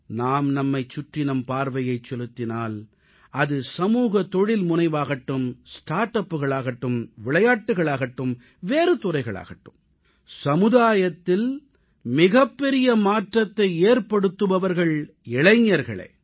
நாம் நம்மைச் சுற்றி நம் பார்வையைச் செலுத்தினால் அது சமூக தொழில்முனைவாகட்டும் ஸ்டார்ட் அப்புகளாகட்டும் விளையாட்டுக்களாகட்டும் வேறு துறைகளாகட்டும் சமுதாயத்தில் மிகப்பெரிய மாற்றத்தை ஏற்படுத்துபவர்கள் இளைஞர்களே